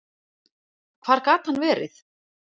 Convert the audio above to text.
Hvar gat hann verið?